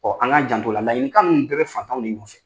Ɔ an k'an janto o la, ladilikan ninnu bɛɛ bɛ fantanw de nɔfɛ.